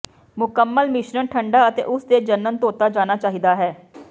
ਮੁਕੰਮਲ ਮਿਸ਼ਰਣ ਠੰਢਾ ਅਤੇ ਉਸ ਦੇ ਜਣਨ ਧੋਤਾ ਜਾਣਾ ਚਾਹੀਦਾ ਹੈ